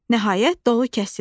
Nəhayət, dolu kəsildi.